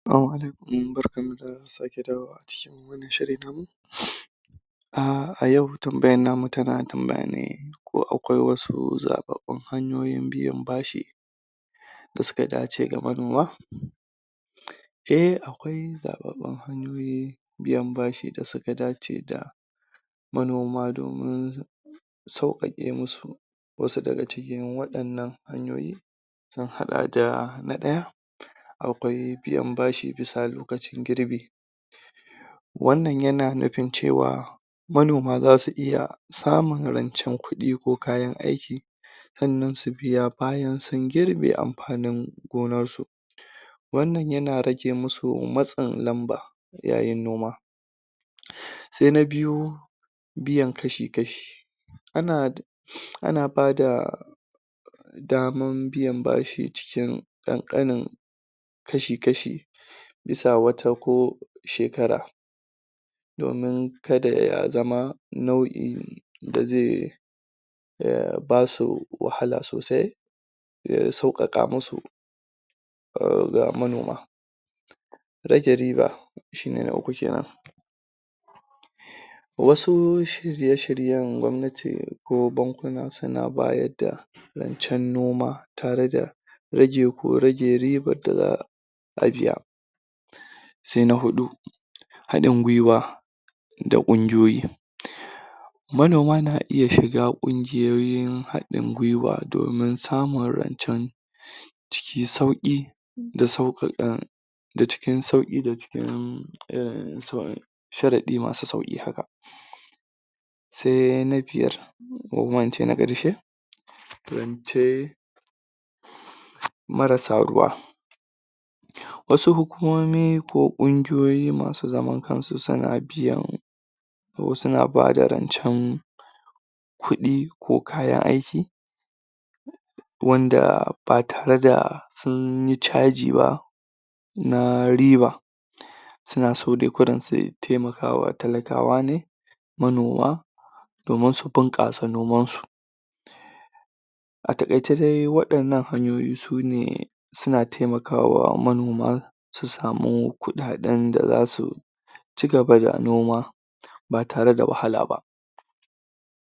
Salama Alaikum barkanmu da sake saduwa a wani shiri namu a cikin wannan shiri namu a yau tambayarnamu tana tambayane ko akwai wasu zaɓaɓɓun hanyoyin biyan bashi, da suka dace da manoma? Eh akwai zaɓaɓɓun hanyoyi da suka dace da manoma domin sauƙaƙe musu wasu daga cikin waɗannan hanyoyi, sun haɗa da, Na ɗaya: Akwai biyan bashi lokacin girbi, wannan yana nufin cewa manoma zasu iya samun rancen kuɗi ko kayan aiki, sannan su biya bayan sun girbe anfanin gonarsu wannan yana rage musu matsin lamba, yayin noma. Sai na Biyu: Biyan Kashi-kashi. ana ba da daman biyan bashi cikin ƙanƙanin kashi-kashi, bisa wata ko shekara. Domin ka da ya zama nau'in da zai basu wahala sosai, don sauƙaƙa musu ga manoma. Ajiye Riba. Shine na uku kenan, Wasu shirye-shiryen gwamnati ko bankuna, suna bayar da rancen noma tare da rage ko rage ribar da za'a biya. Sai na Huɗu: Haɗin Gwiwa da Ƙungiyoyi. Manoma na iya shiga ƙungiyoyin haɗin gwiwa domin samun rancen cikin sauki da sauƙaƙa da cikin sauƙi da cikin sharaɗi masu sauki haka. Sai na Biyar: ko kuma in ce na ƙarshe, Rance Marasa Ruwa. Wasu hulkumomi ko ƙungiyoyi masu zaman kansu suna biyan wasu na ba da rancen kuɗi ko kayan aiki, wanda ba tare da sun yi ca ji ba na riba. Suna so dai kawai su taimakawa talakawane, manoma, domin su bunƙasa noman su. A taƙaice dai waɗannan hanyoyi sune suna taimakawa manoma, su sami kuɗaɗen da zasu ci gaba da noma ba tare da wahala ba.